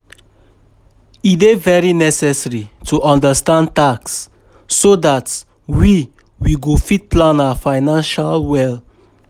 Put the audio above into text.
E dey very necessary to understand tax so dat we we go fit plan our finances well